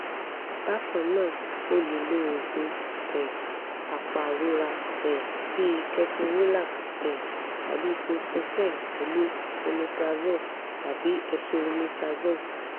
bákan náà o lè lo oògùn um apàrora um bíi ketorolac um tàbí ibuprofen pẹ̀lú omeprazole tàbí esomeprazole